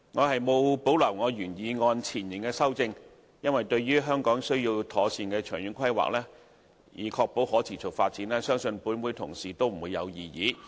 我沒有保留我原修正案前部分的修正，因為對於"香港需要妥善的長遠規劃，以確保可持續發展"，相信立法會同事不會有異議。